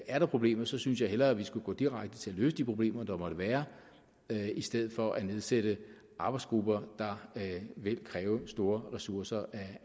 er der problemer synes jeg hellere vi skulle gå direkte til at løse de problemer der måtte være i stedet for at nedsætte arbejdsgrupper der vil kræve store ressourcer af